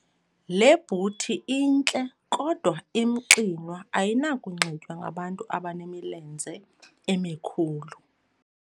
Le bhuthi intle kodwa imxinwa ayinakunxitywa ngabantu abanemilenze emikhulu.